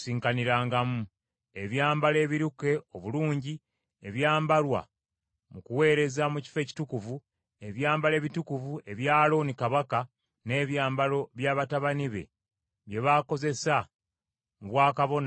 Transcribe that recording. ebyambalo ebiruke obulungi ebyambalwa mu kuweereza mu Kifo Ekitukuvu, ebyambalo ebitukuvu ebya Alooni kabona, n’ebyambalo bya batabani be bye bakozesa mu bwakabona nga baweereza.